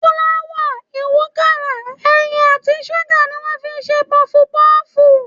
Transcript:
Fúláwà, ìwúkàrà, ẹyin àti ṣúgà ni wọ́n fi ń ṣe pọfupọ́ọ̀fù.